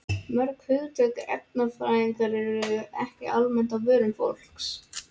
Mörg hugtök erfðafræðinnar eru ekki almennt á vörum fólks.